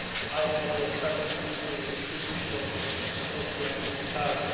I had a person come to me two weeks ago who said he had retired.